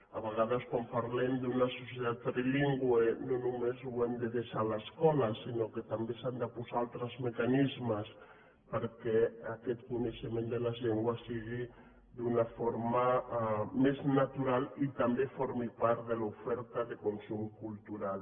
a vegades quan parlem d’una societat trilingüe no només ho hem de deixar a l’escola sinó que també s’han de posar altres mecanismes perquè aquest coneixement de les llengües sigui d’una forma més natural i també formi part de l’oferta de consum cultu ral